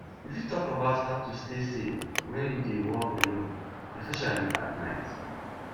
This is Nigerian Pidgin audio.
you fit talk about how to stay safe when you dey walk alone especially at night